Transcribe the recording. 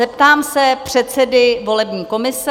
Zeptám se předsedy volební komise.